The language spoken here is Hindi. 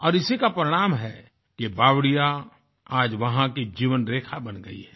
और इसी का परिणाम है कि ये बावड़ियां आज वहां की जीवन रेखा बन गई है